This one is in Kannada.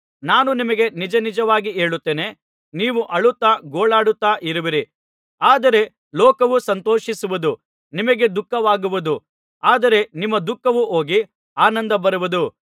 ನಾನು ನಿಮಗೆ ನಿಜನಿಜವಾಗಿ ಹೇಳುತ್ತೇನೆ ನೀವು ಅಳುತ್ತಾ ಗೋಳಾಡುತ್ತಾ ಇರುವಿರಿ ಆದರೆ ಲೋಕವು ಸಂತೋಷಿಸುವುದು ನಿಮಗೆ ದುಃಖವಾಗುವುದು ಆದರೆ ನಿಮ್ಮ ದುಃಖವು ಹೋಗಿ ಆನಂದ ಬರುವುದು